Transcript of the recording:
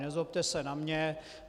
Nezlobte se na mě.